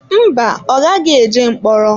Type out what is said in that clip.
Mba, ọ gaghị eje mkpọrọ.